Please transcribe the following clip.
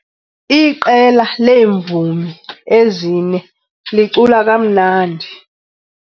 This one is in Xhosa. Iqela leemvumi ezine licula kamnandi.